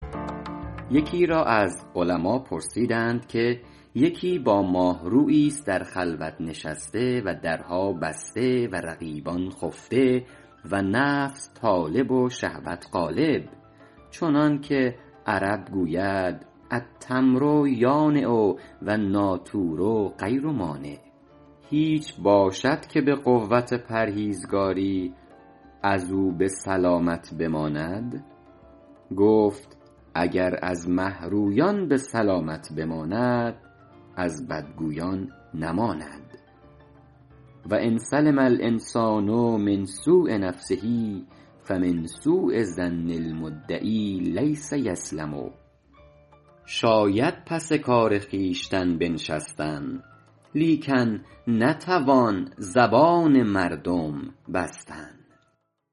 یکی را از علما پرسیدند که یکی با ماهروییست در خلوت نشسته و درها بسته و رقیبان خفته و نفس طالب و شهوت غالب چنان که عرب گوید التمر یانع و النٰاطور غیر مانع هیچ باشد که به قوت پرهیزگاری از او به سلامت بماند گفت اگر از مهرویان به سلامت بماند از بدگویان نماند و ان سلم الإنسان من سوء نفسه فمن سوء ظن المدعی لیس یسلم شاید پس کار خویشتن بنشستن لیکن نتوان زبان مردم بستن